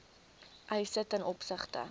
eise ten opsigte